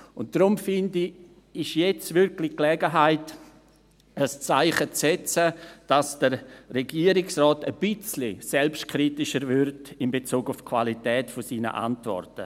Deshalb finde ich, ist das jetzt wirklich die Gelegenheit, ein Zeichen zu setzen, sodass der Regierungsrat ein bisschen selbstkritischer wird in Bezug auf die Qualität seiner Antworten.